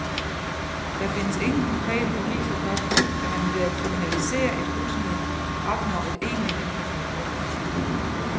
Der findes ingen konkrete beviser for, at man ved at kriminalisere et rusmiddel, opnår et egentligt mindre forbrug.